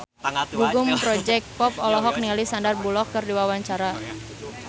Gugum Project Pop olohok ningali Sandar Bullock keur diwawancara